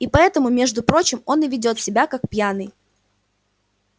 и поэтому между прочим он и ведёт себя как пьяный